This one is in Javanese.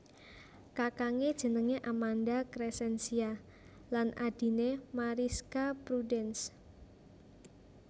Kakangé jenengé Amanda Crescentia lan adhiné Marischka Prudence